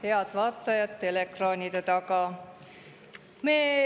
Head vaatajad teleekraanide taga!